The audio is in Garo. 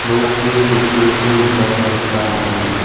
nokni nokningko nikatna gita man·enga.